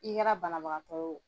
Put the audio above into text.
I kɛra banabanabagatɔ.